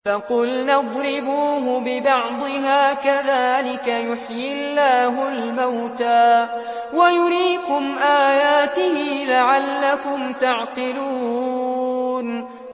فَقُلْنَا اضْرِبُوهُ بِبَعْضِهَا ۚ كَذَٰلِكَ يُحْيِي اللَّهُ الْمَوْتَىٰ وَيُرِيكُمْ آيَاتِهِ لَعَلَّكُمْ تَعْقِلُونَ